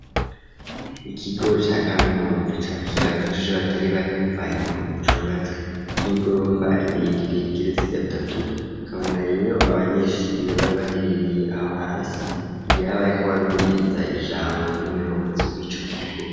Ikigo ca kaminuza cakira abanyeshuri batari bake bivanye nu kuntu cubatswe nk'igorofa rirerire rigeretse gatatu ukabona rero abanyeshuri bari baherereye aho hasi ngira bariko barumviriza ijambo ry'umuyobozi wico kigo